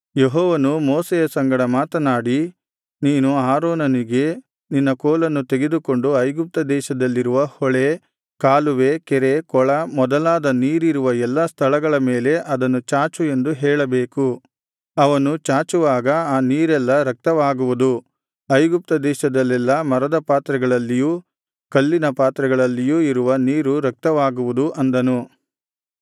ಯೆಹೋವನು ಮೋಶೆಯ ಸಂಗಡ ಮಾತನಾಡಿ ನೀನು ಆರೋನನಿಗೆ ನಿನ್ನ ಕೋಲನ್ನು ತೆಗೆದುಕೊಂಡು ಐಗುಪ್ತದೇಶದಲ್ಲಿರುವ ಹೊಳೆ ಕಾಲುವೆ ಕೆರೆ ಕೊಳ ಮೊದಲಾದ ನೀರಿರುವ ಎಲ್ಲಾ ಸ್ಥಳಗಳ ಮೇಲೆ ಅದನ್ನು ಚಾಚು ಎಂದು ಹೇಳಬೇಕು ಅವನು ಚಾಚುವಾಗ ಆ ನೀರೆಲ್ಲಾ ರಕ್ತವಾಗುವುದು ಐಗುಪ್ತದೇಶದಲ್ಲೆಲ್ಲಾ ಮರದ ಪಾತ್ರೆಗಳಲ್ಲಿಯೂ ಕಲ್ಲಿನ ಪಾತ್ರೆಗಳಲ್ಲಿಯೂ ಇರುವ ನೀರು ರಕ್ತವಾಗುವುದು ಅಂದನು